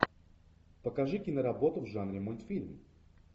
покажи киноработу в жанре мультфильм